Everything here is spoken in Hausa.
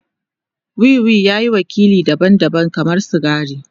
Wiwi ya yi wakili daban-daban kamar sigari.